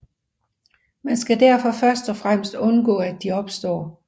Man skal derfor først og fremmest undgå at de opstår